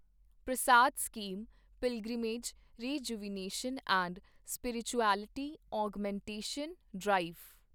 Prasad scheme pilgrimage rejuvenation and spirituality augmentation drive